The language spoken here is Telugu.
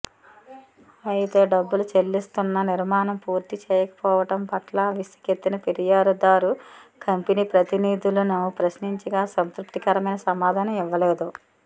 అయితే డబ్బులు చెల్లిస్తున్నా నిర్మాణం పూర్తి చేయకపోవడం పట్ల విసుగెత్తిన ఫిర్యాదుదారు కంపెనీ ప్రతినిధులను ప్రశ్నించగా సంతృప్తికరమైన సమాధానం ఇవ్వలేదు